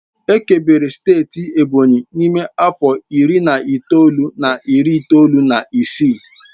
Ekebere steeti Ebonyi n'ime afọ iri na itoolu na iri itoolu na isii